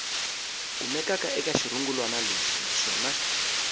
kumekaka eka xirungulwana lexi naswona